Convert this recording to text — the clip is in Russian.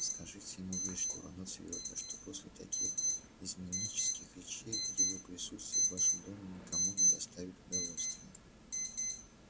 скажите ему вежливо но твёрдо что после таких изменнических речей его присутствие в вашем доме никому не доставит удовольствия